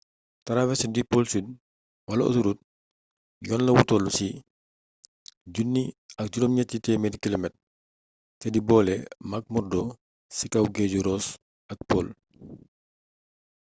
traversé bu pôle sud wala autoroute yoon la wu tollu ci 1 600 km te di boole mcmurdo ci kaw géeju ross ak pole